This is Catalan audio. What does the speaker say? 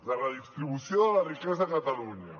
la redistribució de la riquesa a catalunya